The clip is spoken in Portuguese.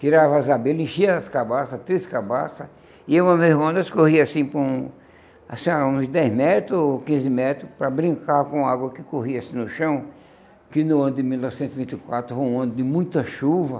Tirava as abelhas, enchia as cabaças, três cabaças, e eu mais meu irmão nós corria assim por um assim uns dez metros ou quinze metros para brincar com a água que corria assim no chão, que no ano de mil novecentos e vinte e quatro foi um ano de muita chuva.